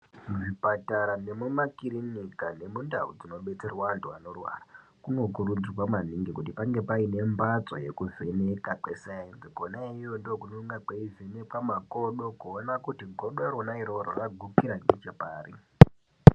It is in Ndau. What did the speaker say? Muzvipatara nemumakirunika nemundau dzinobetserwa anhu anorwara kunokuridzirwa maningi kut painge pane mbatso yekuvheneka kwe sainzi kona iyoyo ndokunege kweyi vhenekwa makodo kuona kuti godorona iroro raguka nechepari.